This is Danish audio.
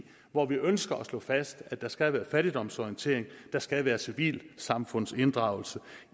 hvor vi ønsker at slå fast at der skal være fattigdomsorientering at der skal være civilsamfundsinddragelse